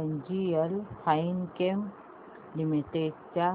NGL Finechem limited च्या